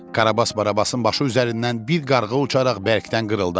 Karabas-Barabasın başı üzərindən bir qarğa uçaraq bərkdən qırıldadı.